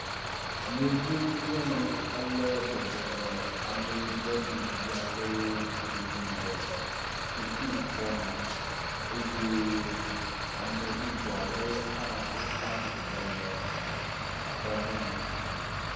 Yevu nyɔnu aɖe bɔbɔnɔ ameyibɔ ɖevi aɖewo domi le sukuxɔme eye ame bubu alewo hã wotsi atsitre le exɔmɔnu.